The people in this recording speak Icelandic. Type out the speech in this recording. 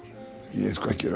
ég er sko ekki